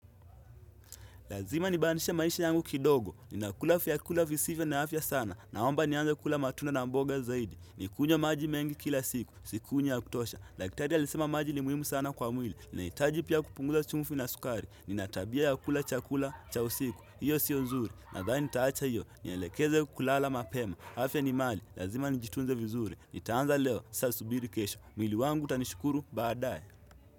Lazima nibananishe maisha yangu kidogo. Ninakula vyakula visivyo na afya sana. Naomba nianze kula matunda na mboga zaidi. Nikunywe maji mengi kila siku. Sikunywa ya kutosha. Dakitari alisema maji ni muhimu sana kwa mwili. Ninahitaji pia kupunguza chumvi na sukari. Ninatabia ya kula chakula cha usiku. Hiyo siyo nzuri. Nadhani nitaacha hiyo. Nielekeze kulala mapema. Afya ni mali. Lazima nijitunze vizuri. Nitaanza leo. Sasa subiri kesho. Mwili wangu utanishukuru baadaye.